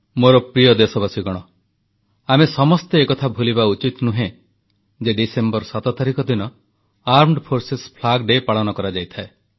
ମୋର ପ୍ରିୟ ଦେଶବାସୀଗଣ ଆମେ ସମସ୍ତେ ଏକଥା ଭୁଲିବା ଉଚିତ ନୁହେଁ ଯେ ଡିସେମ୍ବର 7 ତାରିଖ ଦିନ ସଶସ୍ତ୍ର ସେନା ପତାକା ଦିବସ ପାଳନ କରାଯାଇଥାଏ